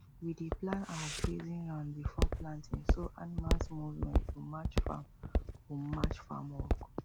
we dey plan our grazing round before planting so animals movement go match farm go match farm work